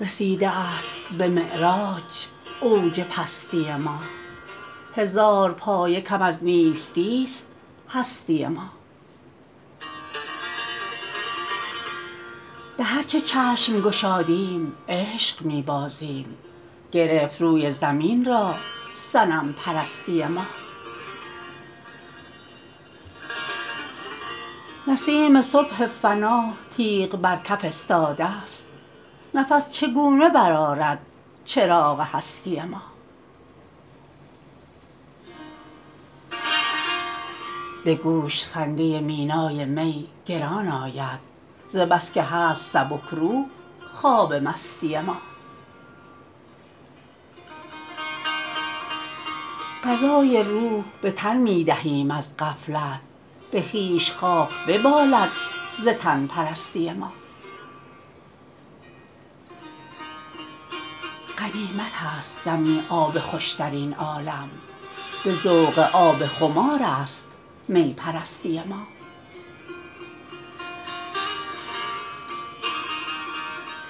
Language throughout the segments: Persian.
رسیده است به معراج اوج پستی ما هزار پایه کم از نیستی است هستی ما به هر چه چشم گشادیم عشق می بازیم گرفت روی زمین را صنم پرستی ما نسیم صبح فنا تیغ بر کف استاده است نفس چگونه برآرد چراغ هستی ما به گوش خنده مینای می گران آید ز بس که هست سبکروح خواب مستی ما غذای روح به تن می دهیم از غفلت به خویش خاک ببالد ز تن پرستی ما غنیمت است دمی آب خوش درین عالم به ذوق آب خمارست می پرستی ما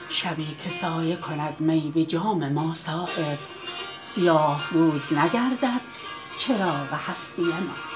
شبی که سایه کند می به جام ما صایب سیاه روز نگردد چراغ هستی ما